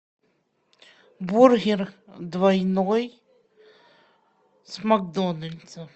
бургер двойной с макдональдса